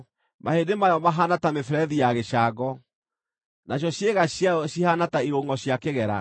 Mahĩndĩ mayo mahaana ta mĩberethi ya gĩcango, nacio ciĩga ciayo cihaana ta irungʼo cia kĩgera.